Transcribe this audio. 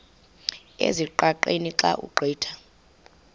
ezingqaqeni xa ugqitha